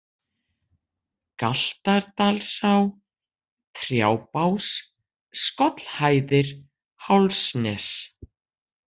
Galtardalsá, Trjábás, Skollhæðir, Hálsnes